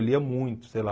Eu lia muito, sei lá.